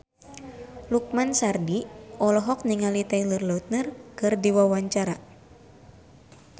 Lukman Sardi olohok ningali Taylor Lautner keur diwawancara